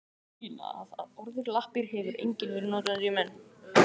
Dæmi sýna að orðið lappir hefur lengi verið notað um dýr og menn.